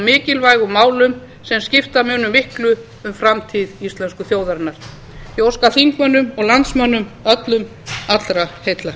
mikilvægum málum sem skipta munu miklu um framtíð íslensku þjóðarinnar ég óska þingmönnum og landsmönnum öllum allra heilla